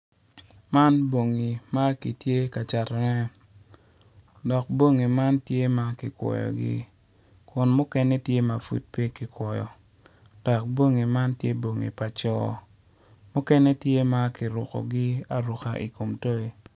Man bongi makitye ka cato ne dok bongi man tye ma kikwoyogi kun mukene tye mapud pe kikwoyo dok bongi man tye bongi paco mukene tye ma kirukogi aruka ikom toy.